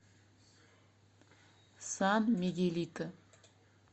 сан мигелито